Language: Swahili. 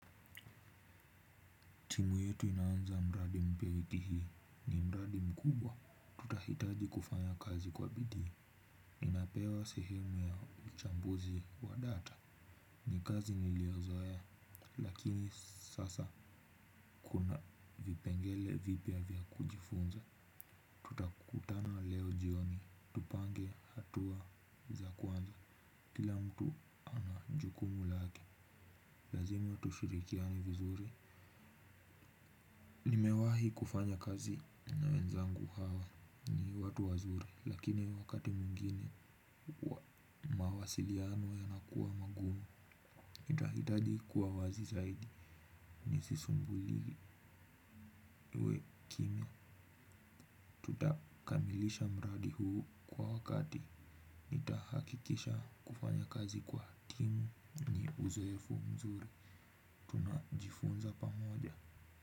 Timu yetu inaanza mradi mpya wiki hii ni mradi mkubwa. Tutahitaji kufanya kazi kwa bidii. Ninapewa sehemu ya uchambuzi wa data. Ni kazi niliyozoea lakini sasa kuna vipengele vipya vya kujifunza. Tutakutana leo jioni, tupange hatua za kwanza. Kila mtu ana jukumu lake, lazima tushirikiane vizuri. Nimewahi kufanya kazi na wenzangu hawa ni watu wazuri. Lakini wakati mwengine mawasiliano yanakuwa magumu tutahitaji kuwa wazi zaidi. Nisisumbuliwe iwe kimya. Tutakamilisha mradi huu kwa wakati. Hakikisha kufanya kazi kwa timu ni uzoefu mzuri. Tunajifunza pamoja.